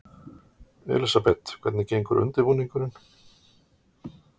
Elísabet, hvernig gengur undirbúningurinn?